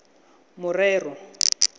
morero